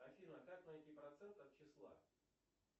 афина как найти процент от числа